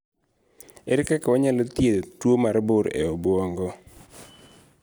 Ere kaka wanyalo thiedho tuo mar bur e obwongo?